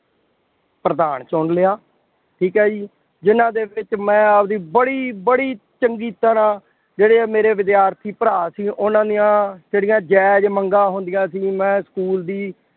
ਪ੍ਰਧਾਨ ਚੁਣ ਲਿਆ। ਠੀਕ ਹੈ ਜੀ, ਜਿੰਨ੍ਹਾ ਦੇ ਵਿੱਚ ਮੈਂ ਆਪਦੀ ਬੜੀ ਬੜੀ ਚੰਗੀ ਤਰ੍ਹਾਂ ਜਿਹੜੇ ਆਹ ਮੇਰੇ ਵਿਦਿਆਰਥੀ ਭਰਾ ਸੀ, ਉਹਨਾ ਦੀਆਂ ਜਿਹੜੀਆਂ ਜ਼ਾਇਜ ਮੰਗਾਂ ਹੁੰਦੀਆਂ ਸੀ, ਜਿਵੇਂੰ ਸਕੂਲ ਦੀ